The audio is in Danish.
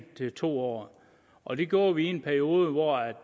år til to år og det gjorde vi i en periode hvor